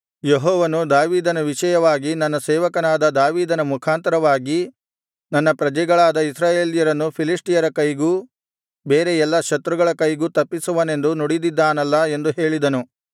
ಯೆಹೋವನು ದಾವೀದನ ವಿಷಯವಾಗಿ ನನ್ನ ಸೇವಕನಾದ ದಾವೀದನ ಮುಖಾಂತರವಾಗಿ ನನ್ನ ಪ್ರಜೆಗಳಾದ ಇಸ್ರಾಯೇಲ್ಯರನ್ನು ಫಿಲಿಷ್ಟಿಯರ ಕೈಗೂ ಬೇರೆ ಎಲ್ಲಾ ಶತ್ರುಗಳ ಕೈಗೂ ತಪ್ಪಿಸುವನೆಂದು ನುಡಿದಿದ್ದಾನಲ್ಲಾ ಎಂದು ಹೇಳಿದನು